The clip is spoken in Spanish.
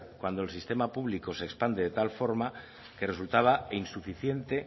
cuando el sistema público se expande de tal forma que resultaba insuficiente